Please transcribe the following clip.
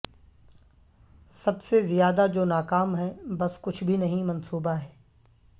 سب سے زیادہ جو ناکام ہے بس کچھ بھی نہیں منصوبہ ہے